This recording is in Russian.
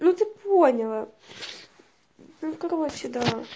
ну ты поняла ну короче да